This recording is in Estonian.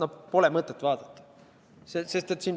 Seda pole mõtet vaadata.